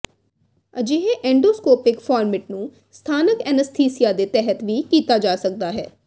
ਅਜਿਹੇ endoscopic format ਨੂੰ ਸਥਾਨਕ ਅਨੱਸਥੀਸੀਆ ਦੇ ਤਹਿਤ ਵੀ ਕੀਤਾ ਜਾ ਸਕਦਾ ਹੈ